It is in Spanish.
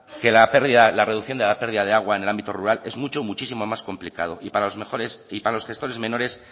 que la pérdida la reducción de la pérdida de agua en el ámbito rural es mucho muchísimo más complicado y para los gestores menores